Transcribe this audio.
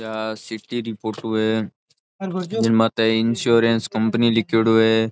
आ city री photo है जिन माते इंश्योरेंस कंपनी लिखेडो है।